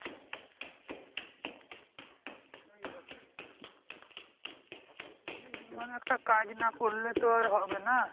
সেটাই মানে বিমান একটা কাজ না করলে তো আর হবে না?